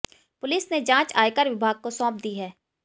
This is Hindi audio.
पुलिस ने जांच आयकर विभाग को सौंप दी है